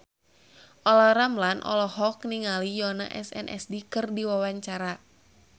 Olla Ramlan olohok ningali Yoona SNSD keur diwawancara